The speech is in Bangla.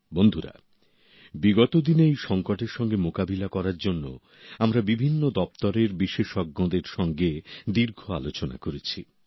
বন্ধুরা বিগত দিনে এই সংকটের সঙ্গে মোকাবিলা করার জন্য আমরা বিভিন্ন দপ্তরের বিশেষজ্ঞের সঙ্গে দীর্ঘ আলোচনা করেছি